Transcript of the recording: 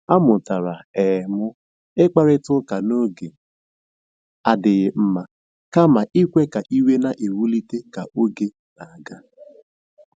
A mụtara um m ịkparịta ụka n'oge adịghị mma kama ikwe ka iwe na-ewulite ka oge na-aga.